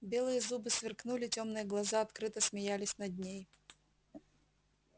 белые зубы сверкнули тёмные глаза открыто смеялись над ней